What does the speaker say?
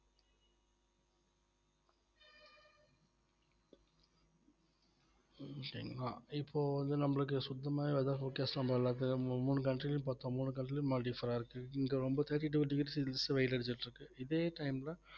உம் சரிங்களா இப்போ வந்து நம்மளுக்கு சுத்தமாவே weather focus பண்ணற அளவுக்கு மூ~ மூணு country லயும் பாத்தோ மூணு country லயும் differ அ இருக்கு இங்க வந்து thirty-two degree celsius வெயில் அடிச்சிட்டு இருக்கு இதே time ல